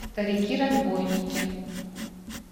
старики разбойники